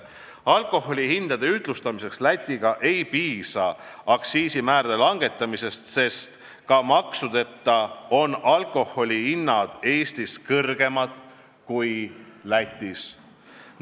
Alkoholihindade ühtlustamiseks Läti hindadega ei piisa aktsiisimäärade langetamisest, sest ka maksudeta on alkoholihinnad Eestis kõrgemad kui Lätis.